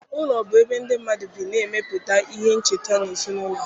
Ụlọ bụ ebe ndị mmadụ bi na-emepụta ihe ncheta na ezinụlọ ha